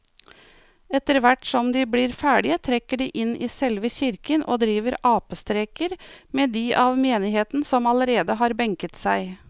Etterthvert som de blir ferdige trekker de inn i selve kirken og driver apestreker med de av menigheten som allerede har benket seg.